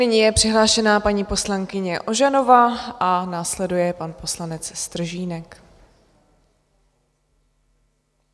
Nyní je přihlášená paní poslankyně Ožanová a následuje pan poslanec Stržínek.